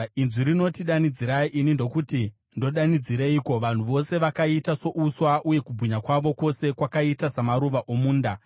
Inzwi rinoti, “Danidzirai.” Ini ndokuti, “Ndodanidzireiko?” “Vanhu vose vakaita souswa, uye kubwinya kwavo kwose kwakaita samaruva omunda.